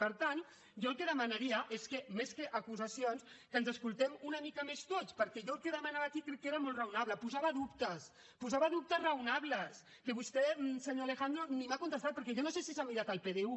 per tant jo el que demanaria és que més que acusacions que ens escoltem una mica més tots perquè jo el que demanava aquí crec que era molt raonable posava dubtes posava dubtes raonables que vostè senyor alejandro ni m’ha contestat perquè jo no sé si s’ha mirat el pdu